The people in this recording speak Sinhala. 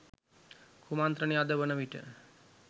කුමන්ත්‍රනය අද වනවිට